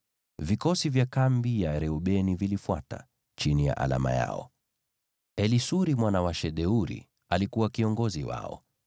Vikosi vya kambi ya Reubeni vilifuata, chini ya alama yao. Elisuri mwana wa Shedeuri alikuwa kiongozi wao.